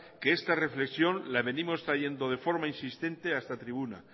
que esta reflexión la veníamos trayendo de forma insistente a esta tribuna